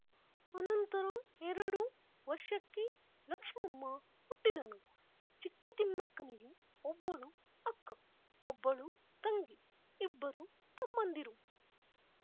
ಅನಂತರ ಎರಡು ವರ್ಷಕ್ಕೆ ಲಕ್ಷ್ಮಮ್ಮ ಹುಟ್ಟಿದಳು ಚಿಕ್ಕತಿಮ್ಮಕ್ಕನಿಗೆ ಒಬ್ಬಳು ಅಕ್ಕ ಒಬ್ಬಳು ತಂಗಿ ಇಬ್ಬರು ತಮ್ಮಂದಿರು